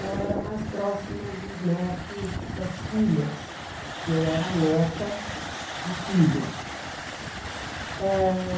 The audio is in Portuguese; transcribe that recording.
Ela era mais próxima dos netos das filhas e eu era neta de filho eh.